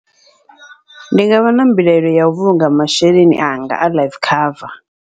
Ndi ngavha na mbilaelo yau vhulunga masheleni anga a life cover.